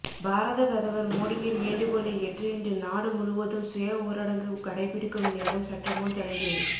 பாரத பிரதமர் மோடியின் வேண்டுகோளை ஏற்று இன்று நாடு முழுவதும் சுய ஊரடங்கு கடைபிடிக்கும் நேரம் சற்றுமுன் தொடங்கியது